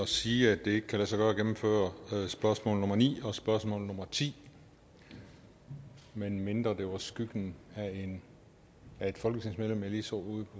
sige at det ikke kan lade sig gøre at gennemføre spørgsmål nummer ni og spørgsmål nummer ti medmindre det var skyggen af et folketingsmedlem jeg lige så ude